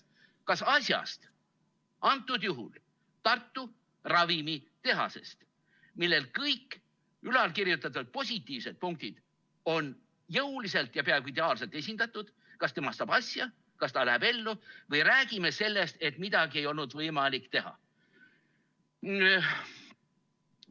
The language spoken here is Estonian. Kas asjast, antud juhul Tartu ravimitehasest, milles kõik ülalkirjeldatud positiivsed punktid on jõuliselt ja peaaegu ideaalselt esindatud, saab asja, kas ta läheb ellu, või räägime sellest, et midagi ei olnud võimalik teha?